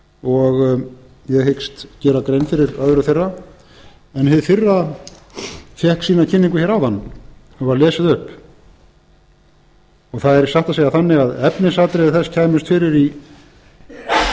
og ég hyggst gera grein fyrir öðru þeirra en hið fyrra fékk sína kynningu hér áðan hún var lesin upp það er satt að segja þannig að efnisatriði þess kæmust fyrir